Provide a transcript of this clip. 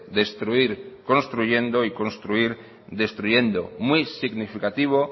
destruir construyendo y construir destruyendo muy significativo